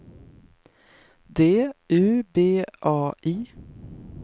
D U B A I